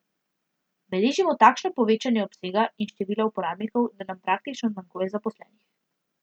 Beležimo takšno povečanje obsega in števila uporabnikov, da nam praktično zmanjkuje zaposlenih.